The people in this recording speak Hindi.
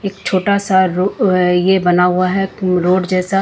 एक छोटा सा रु अ ये बना हुआ है रोड जैसा।